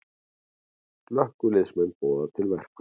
Slökkviliðsmenn boða til verkfalls